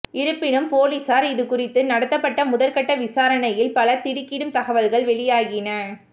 இருப்பினும் பொலிசார் இது குறித்து நடத்தப்பட்ட முதற்கட்ட விசாரணையில் பல திடுக்கிடும் தகவல்கள் வெளியாகின